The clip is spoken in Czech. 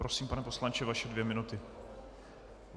Prosím, pane poslanče, vaše dvě minuty.